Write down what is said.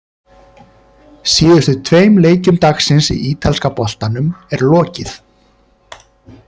Síðustu tveim leikjum dagsins í ítalska boltanum er lokið.